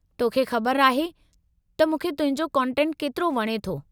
तोखे ख़बर आहे त मूंखे तुंहिंजो कंटेटु केतिरो वणे थो।